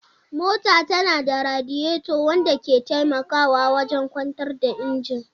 Mota tana da radiator wanda ke taimakawa wajen kwantar da injin.